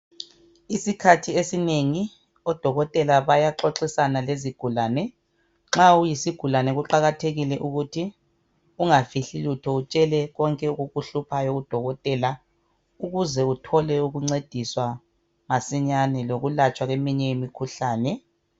Isikhathi ezinengi odokotela bayaxoxisana lezigulane. Nxa uyisigulane kuqakathekile ukuthi ungafihli lutho utshele konke okukuhluphayo udokotela ukuze uthole ukuncediswa masinyane lokulatshwa kweminye imikhuhlane.